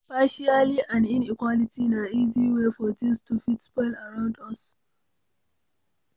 Partiality and inequality na easy wey for things to fit spoil around us